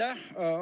Aitäh!